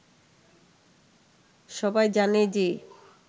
সবাই জানে যে